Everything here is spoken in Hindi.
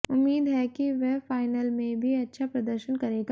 उम्मीद है कि वह फाइनल में भी अच्छा प्रदर्शन करेगा